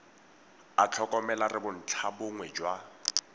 a tlhokomela re bontlhabongwe jwa